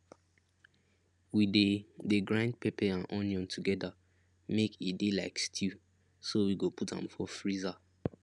we de de grind pepper and onion together make e de like stew so we go put am for freezer